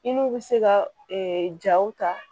I n'u bɛ se ka jaw ta